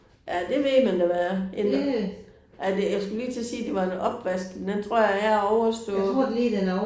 Ja det ved man da hvad er en. Er det jeg skulle lige til at sige det var en opvask men den jeg tror er overstået